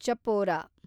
Chapora